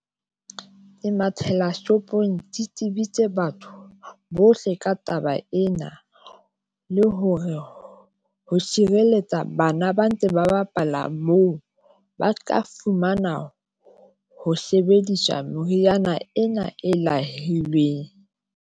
Ke mathela shopong ke tsebise batho batho bohle ka taba ena, le hore ho sireletsa bana ba ntse ba bapala moo, ba ka fumana ho sebediswa. meriana ena.